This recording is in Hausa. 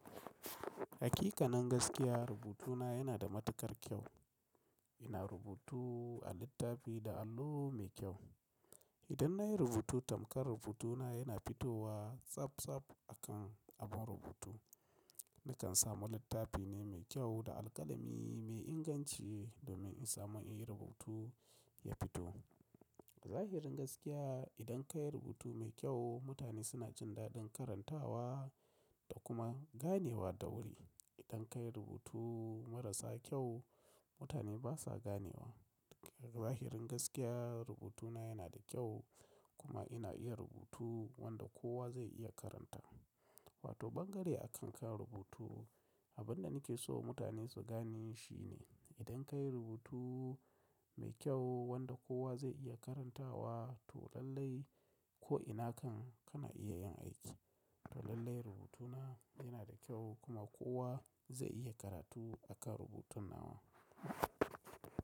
Hakika nan gaskiya rubutuna yana da matukar kyau. Ina rubutu a littafi da allo mai kyau. Idan nayi rubutu tamkar rubuta na yana fitowa tsaf tsaf akan abun rubutu Nakan samu littafi ne mai kyau da alƙalami mai inganci domin in samu in yi rubutu ya fito. Zahirin gaskiya idan ka yi rubutu mai kyau mutane suna jin daɗin karantawa da kuma ganewa da wuri. Idan ka yi rubutu marasa kyau mutane basa ganewa. Zahirin gaskiya rubutuna yana da kyau kuma ina iya rubutu wanda kowa zai iya karanta. Wato bangare akan ka rubutu. Abin da nake so mutane su gane shine idan ka yi rubutu mai kyau wanda kowa zai iya karantawa to lallai ko'ina kan kana iya yin aiki. To lallai rubutuna yana da kyau kuma kowa zai iya karatu akan rubutun nawa.